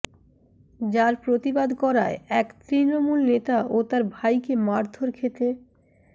যার প্রতিবাদ করায় এক তৃণমূল নেতা ও তাঁর ভাইকে মারধর খেতে